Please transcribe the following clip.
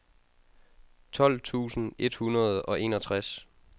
tolv tusind et hundrede og enogtres